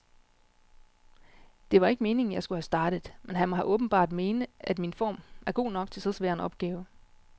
Det var ikke meningen, jeg skulle have startet, men han må åbenbart mene, at min form er god nok til så svær en opgave.